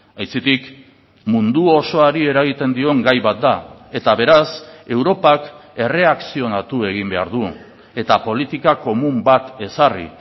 aitzitik mundu osoari eragiten dion gai bat da eta beraz europak erreakzionatu egin behar du eta politika komun bat ezarri